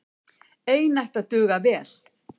Ein ætti að duga vel.